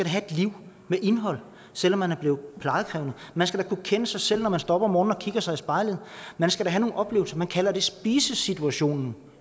have et liv med indhold selv om man er blevet plejekrævende man skal kunne kende sig selv når man står op om morgenen og kigger sig i spejlet man skal have nogle oplevelser man kalder det spisesituationen